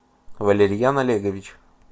валерьян олегович